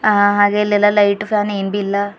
ಹ ಹಾಗೆ ಇಲ್ಲೆಲ್ಲಾ ಲೈಟು ಫಾನು ಇಂಬಿಲ್ಲ.